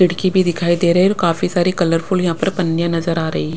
खिड़की भी दिखाई दे रही है और काफी सारी कलरफुल यहाँ पर पन्नियाँ नजर आ रही है।